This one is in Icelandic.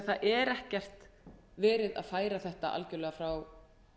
það er ekkert verið að færa þetta algjörlega frá